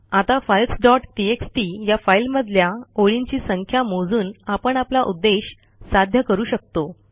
आता files dot TXT या फाईलमधल्या ओळींची संख्या मोजून आपण आपला उद्देश साध्य करू शकतो